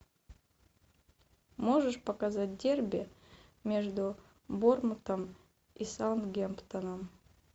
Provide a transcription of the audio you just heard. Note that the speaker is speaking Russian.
можешь показать дерби между борнмутом и саутгемптоном